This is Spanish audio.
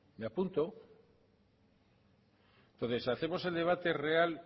me apunto hacemos el debate real